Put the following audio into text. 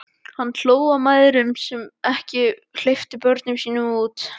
Hann hló að mæðrunum sem ekki hleyptu börnunum sínum út.